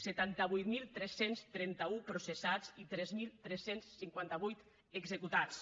setanta vuit mil tres cents trenta un processats i tres mil tres cents i cinquanta vuit executats